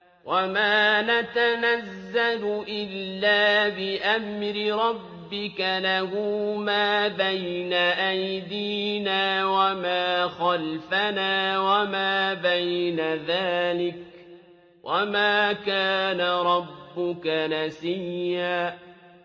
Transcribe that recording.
وَمَا نَتَنَزَّلُ إِلَّا بِأَمْرِ رَبِّكَ ۖ لَهُ مَا بَيْنَ أَيْدِينَا وَمَا خَلْفَنَا وَمَا بَيْنَ ذَٰلِكَ ۚ وَمَا كَانَ رَبُّكَ نَسِيًّا